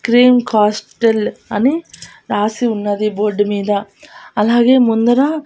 cream castle అని రాసి ఉన్నది బోర్డు మీద అలాగే ముందర--